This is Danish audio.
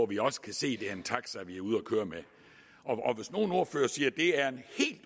vi også kan se det er en taxa vi er ude at køre med og hvis nogen ordførere siger det er en helt